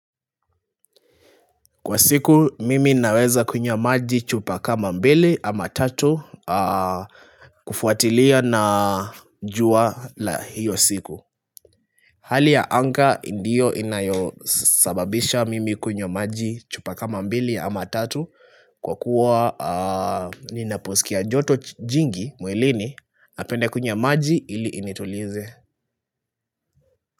Kwa siku mimi naweza kunywa maji chupa kama mbili ama tatu kufuatilia na jua la hiyo siku Hali ya anga ndio inayosababisha mimi kunywa maji chupa kama mbili ama tatu Kwa kuwa ninaposikia joto jingi mwilini napenda kunywa maji ili initulize.